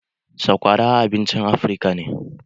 Sakwara abincin Afirka ce.